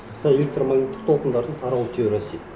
мысалы электромагниттік толқындардың тарау теориясы